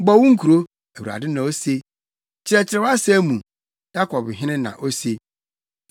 “Bɔ wo nkuro,” Awurade na ose. “Kyerɛkyerɛ wʼasɛm mu,” Yakob Hene na ose.